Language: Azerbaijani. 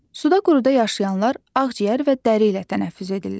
Suda-quruda yaşayanlar ağciyər və dəri ilə tənəffüs edirlər.